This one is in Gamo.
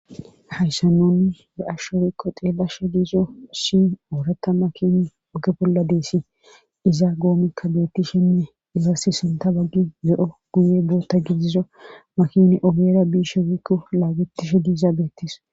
hayssanoni ba ashsho wiikko xeelashsha giizo shi ooratta makin oge bolla deessi izaa goomikka dootti shenne izaa si sunta baggi ze7o guye boota gidiza makin ogera biishe wiikko laagetishe dizaabeetis